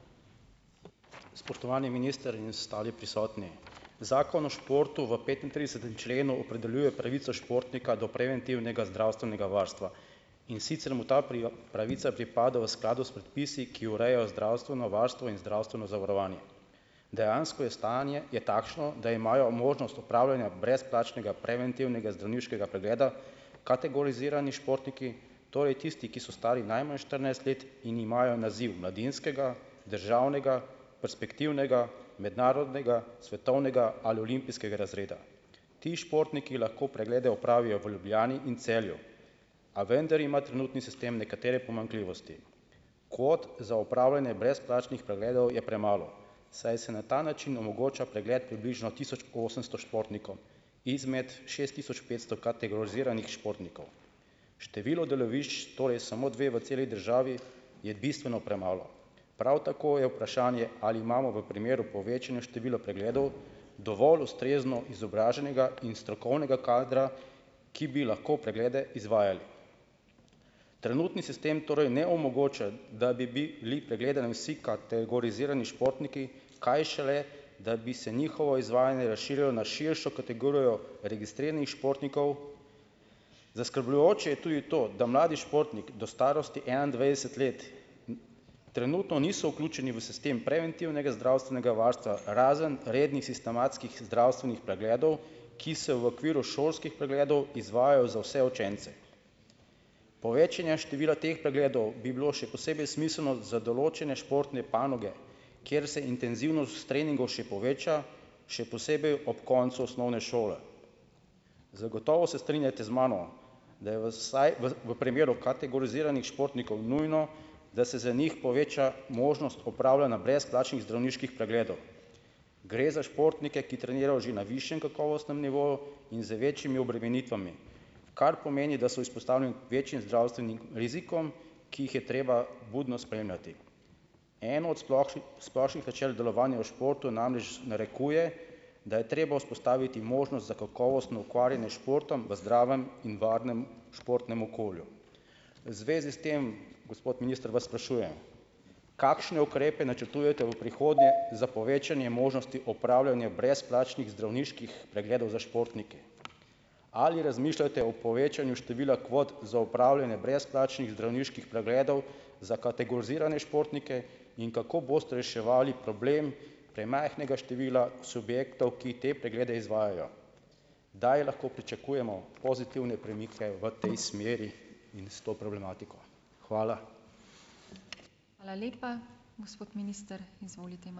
Spoštovani minister in ostali prisotni. Zakon o športu v petintridesetem členu opredeljuje pravico športnika do preventivnega zdravstvenega varstva. In sicer mu ta pravica pripada v skladu s predpisi, ki urejajo zdravstveno varstvo in zdravstveno zavarovanje. Dejansko je stanje je takšno, da imajo možnost upravljanja brezplačnega preventivnega zdravniškega pregleda kategorizirani športniki, torej tisti, ki so stari najmanj štirinajst let in imajo naziv mladinskega, državnega, perspektivnega, mednarodnega, svetovnega ali olimpijskega razreda. Ti športniki lahko preglede opravijo v Ljubljani in Celju. A vendar ima trenutni sistem nekatere pomanjkljivosti. Kvot za opravljanje brezplačnih pregledov je premalo, saj se na ta način omogoča pregled približno tisoč osemsto športnikov izmed šest tisoč petsto kategoriziranih športnikov. Število delovišč, torej samo dve v celi državi, je bistveno premalo. Prav tako je vprašanje, ali imamo v primeru povečanja števila pregledov dovolj ustrezno izobraženega in strokovnega kadra, ki bi lahko preglede izvajali. Trenutni sistem torej ne omogoča, da bi bili pregledani vsi kategorizirani športniki, kaj šele, da bi se njihovo izvajanje razširilo na širšo kategorijo registriranih športnikov. Zaskrbljujoče je tudi to, da mladi športnik do starosti enaindvajset let trenutno niso vključeni v sistem preventivnega zdravstvenega varstva razen rednih sistematskih zdravstvenih pregledov, ki se v okviru šolskih pregledov izvajajo za vse učence. Povečanje števila teh pregledov bi bilo še posebej smiselno za določene športne panoge, ker se intenzivnost treningov še poveča, še posebej ob koncu osnovne šole. Zagotovo se strinjate z mano, da je v v primeru kategoriziranih športnikov nujno, da se za njih poveča možnost opravljanja brezplačnih zdravniških pregledov. Gre za športnike, ki trenirajo že na višjem kakovostnem nivoju in z večjimi obremenitvami, kar pomeni, da so izpostavljeni večjim zdravstvenim rizikom, ki jih je treba budno spremljati. Eno od splošnih načel delovanja v športu namreč narekuje, da je treba vzpostaviti možnost za kakovostno ukvarjanje s športom v zdravem in varnem športnem okolju. V zvezi s tem, gospod minister, vas sprašujem, kakšne ukrepe načrtujete v prihodnje za povečanje možnosti opravljanja brezplačnih zdravniških pregledov za športnike. Ali razmišljate o povečanju števila kvot za opravljanje brezplačnih zdravniških pregledov za kategorizirane športnike in kako boste reševali problem premajhnega števila subjektov, ki te preglede izvajajo? Kdaj lahko pričakujemo pozitivne premike v tej smeri in s to problematiko? Hvala.